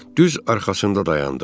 Düz arxasında dayandıq.